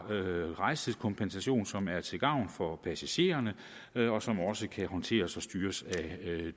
rejsetidskompensation som er til gavn for passagererne og som også kan håndteres og styres af